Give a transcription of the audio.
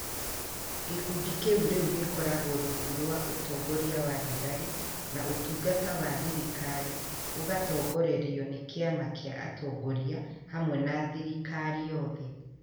Gũkundi kĩu rĩu gĩgũkorwo rungu rwa ũtongoria wa thigari, na ũtungata wa thirikaari ũgaatongorerio nĩ kĩama kĩa atongoria hamwe na thirikari yothe.